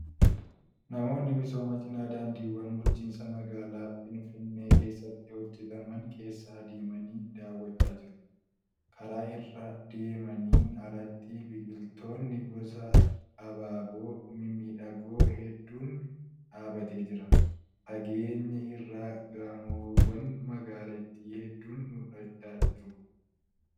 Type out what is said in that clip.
Namoonni misooma cinaa daandiiwwan bulchiinsa magaalaa Findinnee keessatti hojjataman keessa adeemanii daawwachaa jiru. Karaa irra deemaniin alatti biqiltoonni gosa abaaboo mimmidhagoo hedduun dhaabatee jira. Fageenya irraa gamoowwan magaalitii. hedduun mul'achaa jiru.